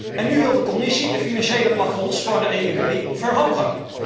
En nu wil de Commissie de financiële plafonds van de EIB verhogen.